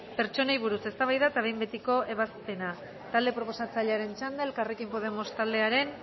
pertsonei buruz eztabaida eta behin betiko ebazpena talde proposatzailearen txanda elkarrekin podemos taldearen